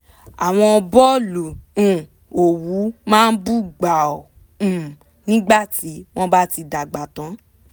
àwọn bọ́ọ̀lù um òwú máa bú gbàù um nígbà tí wọ́n bá ti dàgbà tán